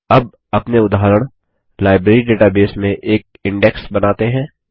अब अपने उदाहरण लाइब्रेरी डेटाबेस में एक इंडेक्स बनाते हैं